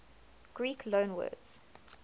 greek loanwords